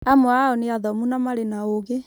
Amwe ao nĩ athomu na marĩ na ũgĩ